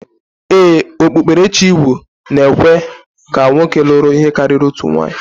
Ee, okpukperechi igbo ekwe ka nwoke luru ihe kariri otu nwunye.